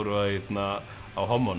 á